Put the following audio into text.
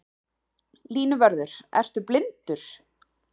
Línuvörður ertu blindur?